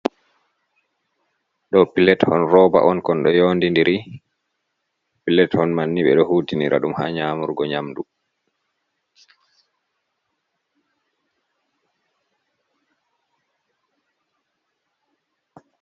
Ɗoo pilet on rooba on , kon ɗo yondi ndiri, pilet hon man ni ɓe ɗo huutinira dum ha nyamurgo nyamdu.